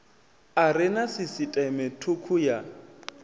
are na sisiṱeme thukhu ya